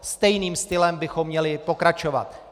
Stejným stylem bychom měli pokračovat.